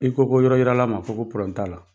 I ko ko yɔrɔ yirala man fɔ ko t'a la